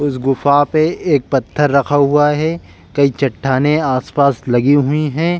उस गुफा पे एक पत्थर रखा हुआ है कई चट्टानें आसपास लगी हुई हैं।